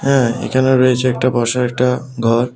এ্যাঁ এখানে রয়েছে একটা বসার একটা ঘর।